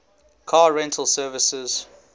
car rental services